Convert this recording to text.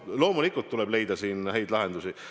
Loomulikult tuleb leida häid lahendusi.